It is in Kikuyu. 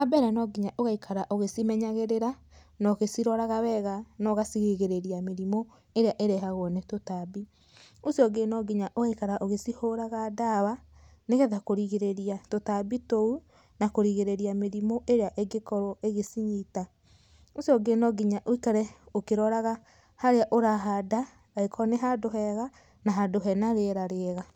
Wa mbere, no nginya ũgaikara ũgĩcimenyagĩrĩra na ũgĩciroraga wega na ũgacirigĩrĩria mĩrimũ ĩrĩa ĩrehagwo nĩ tũtambi. Ũcio ũngĩ no nginya ũgaikaraga ũgĩcihũraga ndawa, nĩgetha kũrigĩrĩria tũtambi tũu na kũrigĩrĩria mĩrimũ ĩrĩa ĩngĩkorwo ĩgĩcinyita. Ũcio ũngĩ no nginya ũikare ũkĩroraga harĩa ũrahanda angĩkorwo nĩ handũ hega na handũ hena rĩera rĩega.